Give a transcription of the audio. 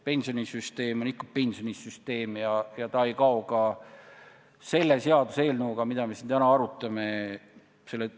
Pensionisüsteem on ikka pensionisüsteem ja ta ei kao ka selle seaduseelnõuga, mida me siin täna arutame.